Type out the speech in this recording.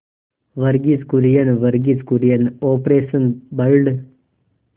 Verghese Kurien Verghese Kurien operation blood